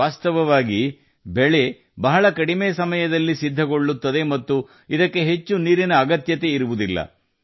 ವಾಸ್ತವವಾಗಿ ಬೆಳೆ ಬಹಳ ಕಡಿಮೆ ಸಮಯದಲ್ಲಿ ಫಸಲು ನೀಡುತ್ತದೆ ಮತ್ತು ಹೆಚ್ಚು ನೀರಿನ ಅಗತ್ಯವಿರುವುದಿಲ್ಲ